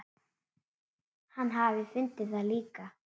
Hann hafi fundið það líka.